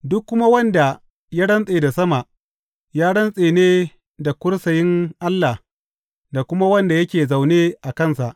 Duk kuma wanda ya rantse da sama, ya rantse ne da kursiyin Allah da kuma wanda yake zaune a kansa.